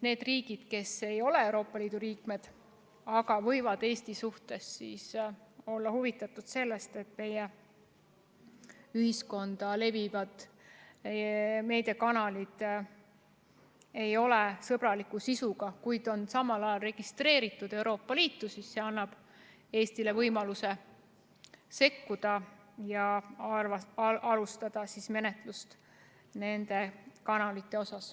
Need riigid, kes ei ole Euroopa Liidu liikmed ja kes võivad Eesti suhtes olla huvitatud sellest, et meie ühiskonnas leviksid meediakanalid, mis ei ole sõbraliku sisuga ja mis ei ole registreeritud Euroopa Liidus – see direktiiv annab Eestile võimaluse sekkuda ja alustada nende kanalite suhtes menetlust.